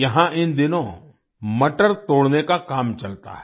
यहाँ इन दिनों मटर तोड़ने का काम चलता है